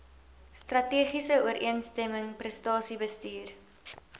strategiese ooreenstemming prestasiebestuur